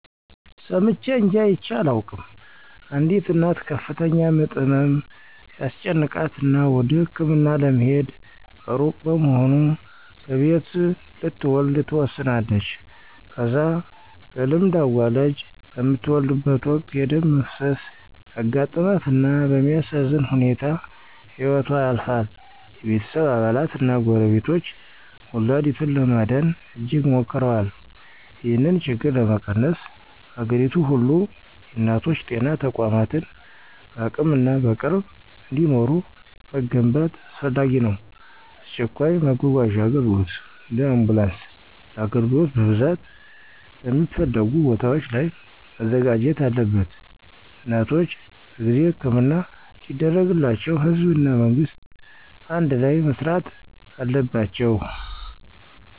ሰምቼ እንጅ አይቼ አላውቅም፣ አንዲት እናት ከፍተኛ ምጥ ህመም ሲያስጨንቃት እና ወደ ህክምና ለመሄድ እሩቅ በመሆኑ በቤት ልትወለድ ትወስናለች። ከዛ በልምድ አዋላጅ በምትወልድበት ወቅት የደም መፍሰስ ያጋጥማት እና በሚያሳዝን ሁኔታ ህይወቶ ያልፋል። የቤተሰብ አባላት እና ጎረቤቶች ወላዲቱን ለማዳን እጅግ ሞክረዋል። ይህን ችግር ለመቀነስ፣ በአገሪቱ ሁሉ የእናቶች ጤና ተቋማትን በአቅምና በቅርብ እንዲኖሩ መገንባት አስፈላጊ ነው። አስቸኳይ መጓጓዣ አገልግሎት (እንደ አምቡላንስ) ለአገልግሎት በብዛት በሚፈለጉ ቦታዎች ላይ መዘጋጀት አለበት። እናቶች በጊዜ ሕክምና እንዲደረግላቸው ህዝብ እና መንግስት አንድላይ መሥሪት አለበት።